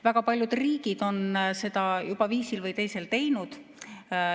Väga paljud riigid on seda juba viisil või teisel teinud.